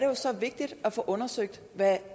jo så vigtigt at få undersøgt hvad